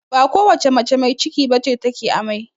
Ba kowace mace mai ciki bace ta ke amai